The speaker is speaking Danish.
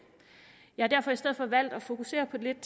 jeg har derfor i stedet for valgt at fokusere lidt